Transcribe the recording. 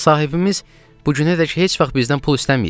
sahibimiz bu günədək heç vaxt bizdən pul istəməyib.